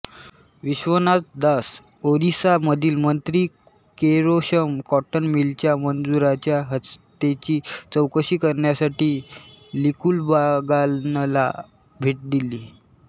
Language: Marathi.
विश्वनाथ दास ओरिसा मधील मंत्री केशोरम कॉटन मिलच्या मजुरांच्या हत्येची चौकशी करण्यासाठी लिकुबागानला भेट दिली